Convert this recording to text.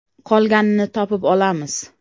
Qolganini topib olamiz.